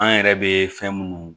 An yɛrɛ bɛ fɛn minnu